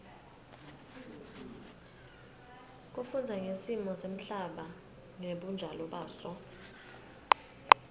kufundza ngesimo semhlaba ngebunjalo baso